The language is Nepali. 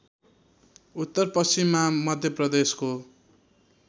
उत्तर पश्चिममा मध्यप्रदेशको